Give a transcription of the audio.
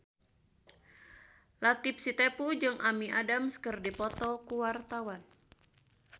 Latief Sitepu jeung Amy Adams keur dipoto ku wartawan